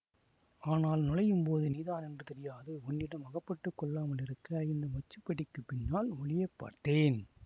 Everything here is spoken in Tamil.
ஆனால் நுழையும்போது நீதான் என்று தெரியாது உன்னிடம் அகப்பட்டு கொள்ளாமலிருக்க இந்த மச்சுப்படிக்குப் பின்னால் ஒளியப் பார்த்தேன்